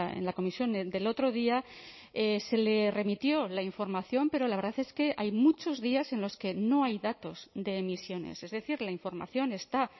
en la comisión del otro día se le remitió la información pero la verdad es que hay muchos días en los que no hay datos de emisiones es decir la información está